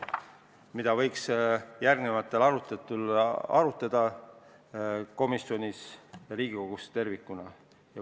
Neid võiks järgmistel aruteludel veel analüüsida komisjonis ja Riigikogus tervikuna.